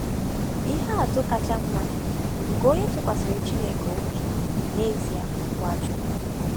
Ihe atụ kacha mma nke onye tụkwasịrị Chineke obi bụ, n’ezie, NwaChukwu.